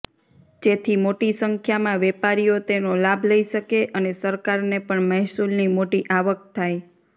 જેથી મોટી સંખ્યામાં વેપારીઓ તેનો લાભ લઈ શકે અને સરકારને પણ મહેસુલની મોટી આવક થાય